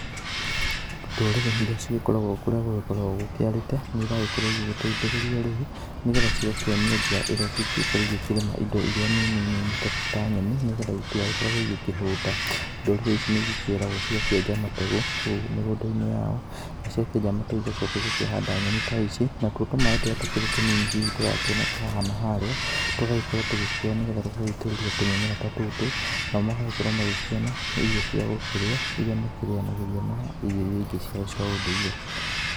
Ndũrĩrĩ iria cigĩkoragwo kũrĩa gũgĩkoragwo gũkĩarĩte nĩiragĩkorwo igĩteithĩrĩrio rĩu, nĩgetha cigakĩonio njĩra ĩrĩa cingĩgĩkorwo igĩkĩrĩma indo iria nini nini ta nyeni, nĩgetha itigagĩkoragwo igĩkĩhũta. Ndũrĩrĩ ici nĩigĩkĩragwo cigakĩenja mategũ kũu mĩgũnda-inĩ yao. Na ciakĩenja mategũ igacoka igakĩhanda nyeni ta ici. Natuo tũmaĩ tũrĩa tũkĩrĩ tũnini hihi tũrakĩoneka haha na harĩa, tũgagĩkorwo tũgĩkĩoywo nĩgetha tũgagĩitĩrĩria tũmĩmera ta tũtũ, nao magagĩkorwo magĩkĩona irio cia gũkĩrĩa. Iria makĩrĩanagĩria na irio iria ingĩ ciao cia ũndũire.